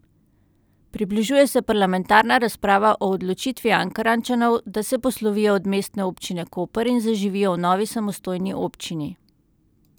Približuje se parlamentarna razprava o odločitvi Ankarančanov, da se poslovijo od Mestne občine Koper in zaživijo v novi samostojni občini.